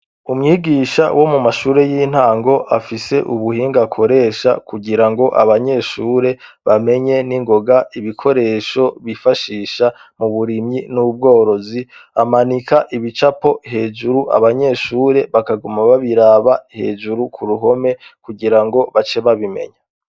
Umwigisha wo mu mashure y'intango, afise ubuhinga akoresha kugirango abanyeshure bamenye ningoga ibikoresho bifashisha mu burimyi n'ubworozi, amanika ibicapo hejuru abanyeshure bakaguma babiraba hejuru ku ruhome kugirango bace babimenya.